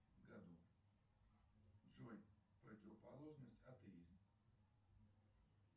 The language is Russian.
году джои противоположность атеист